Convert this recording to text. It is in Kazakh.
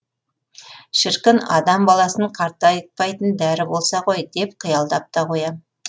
шіркін адам баласын қартайтпайтын дәрі болса ғой деп қиялдап та қоям